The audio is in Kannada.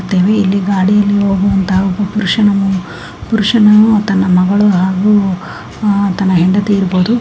ಇಲ್ಲಿ ಗಾಡಿಯಲ್ಲಿ ಹೋಗುವಂತ ಒಬ್ಬ ಪುರುಷನ್ನು ಪುರುಷನು ತನ್ನ ಮಗಳು ಹಾಗೂ ತನ್ನಅಹ್ ಹೆಂಡತಿ ಇರಬಹುದು .